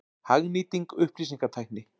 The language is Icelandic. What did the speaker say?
Hagnýting upplýsingatækni.